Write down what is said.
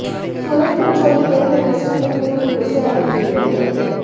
सूरज Pancholi film industry में film hero से entry किये हैं